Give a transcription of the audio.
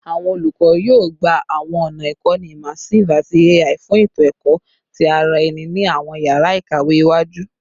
Awọn olukọ yoo gba awọn ọna ikọni immersive ati AI fun eto ẹkọ ti ara ẹni ni awọn yara ikawe iwaju